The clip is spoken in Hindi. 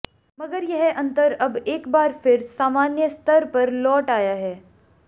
मगर यह अंतर अब एक बार फिर सामान्य स्तर पर लौट आया है